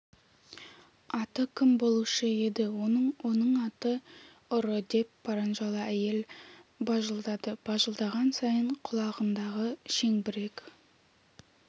аты кім болушы еді оның оның аты ұры деп паранжалы әйел бажылдады бажылдаған сайын құлағындағы шеңбірек